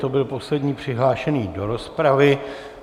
To byl poslední přihlášený do rozpravy.